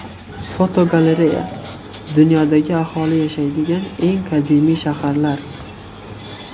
Fotogalereya: Dunyodagi aholi yashaydigan eng qadimiy shaharlar.